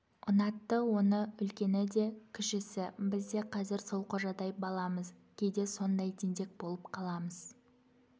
ұнатты оны үлкені де кішісі біз де қазір сол қожадай баламыз кейде сондай тентек болып қаламыз